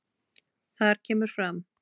Þar kemur fram